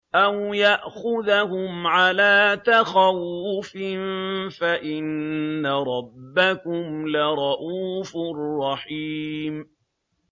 أَوْ يَأْخُذَهُمْ عَلَىٰ تَخَوُّفٍ فَإِنَّ رَبَّكُمْ لَرَءُوفٌ رَّحِيمٌ